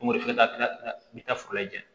Ko wari bɛ taa foro lajɛ